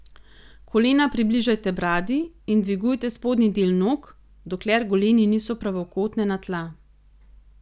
Kolena približajte bradi in dvigujte spodnji del nog, dokler goleni niso pravokotne na tla.